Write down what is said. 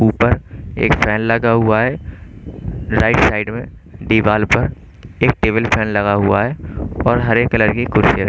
ऊपर एक फैन लगा हुआ है राइट साइड में दीवाल पर एक टेबल फैन लगा हुआ है और हरे कलर की कुर्सी रखी--